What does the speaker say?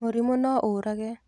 Mũrimũ no ũrage.